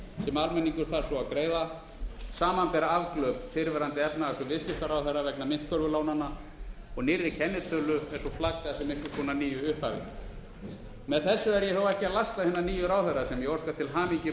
sem almenningur þarf svo að greiða samanber afglöp fyrrverandi efnahags og viðskiptaráðherra vegna myntkörfulánanna og nýrri kennitölu eins og flaggað að einhvers konar nýju upphafi með þessu er ég þó ekki að lasta hina nýju ráðherra sem ég óska til hamingju með